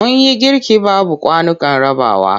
Mun yi girki babu kwanukan rabawa.